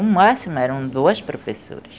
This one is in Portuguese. O máximo eram duas professoras.